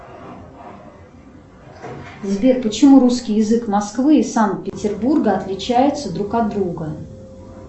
сбер почему русский язык москвы и санкт петербурга отличается друг от друга